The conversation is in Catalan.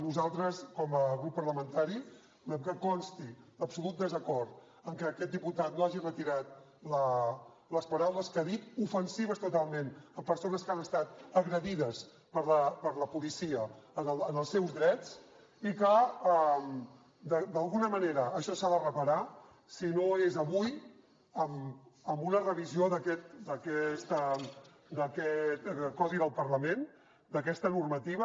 nosaltres com a grup parlamentari volem que consti l’absolut desacord amb que aquest diputat no hagi retirat les paraules que ha dit ofensives totalment amb persones que han estat agredides per la policia en els seus drets i que d’alguna manera això s’ha de reparar si no és avui amb una revisió d’aquest codi del parlament d’aquesta normativa